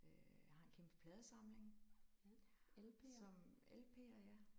Øh har en kæmpe pladesamling som lp'er ja